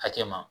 Hakɛ ma